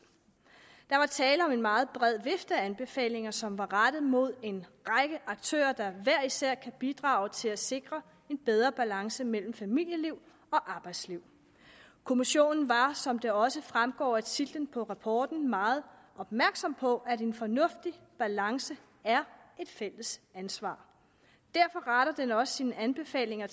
der var tale om en meget bred vifte af anbefalinger som var rettet mod en række aktører der hver især kan bidrage til at sikre en bedre balance mellem familieliv og arbejdsliv kommissionen var som det også fremgår af titlen på rapporten meget opmærksom på at en fornuftig balance er et fælles ansvar derfor retter den også sine anbefalinger